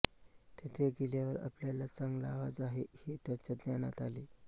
तेथे गेल्यावर आपल्याला चांगला आवाज आहे हे त्यांच्या ध्यानात आले